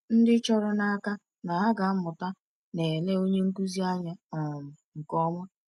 Ndị chọrọ n’aka na ha ga-amụta na-ele onye nkụzi anya um nke ọma.